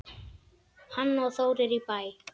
Hanna og Þórir í Bæ.